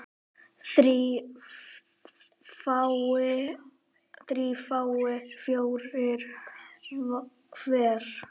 þrír fái fjóra hver